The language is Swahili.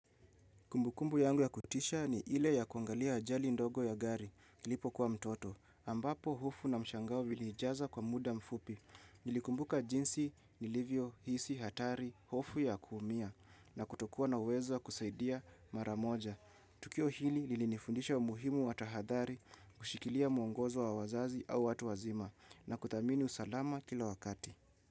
Kumbukumbu yangu ya kutisha ni ile ya kuangalia ajali ndogo ya gari, nilipokuwa mtoto, ambapo hofu na mshangao viliijaza kwa muda mfupi. Nilikumbuka jinsi nilivyohisi, hatari, hofu ya kuumia, na kutokuwa na uwezo wa kusaidia maramoja. Tukio hili lilinifundisha umuhimu wa tahadhari, kushikilia muongozo wa wazazi au watu wazima, na kutamani usalama kila wakati.